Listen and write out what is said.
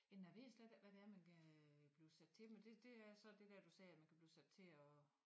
Men jeg ved slet ikke hvad det er man kan øh blive sat til men det så det dér du sagde at man kan blive sat til at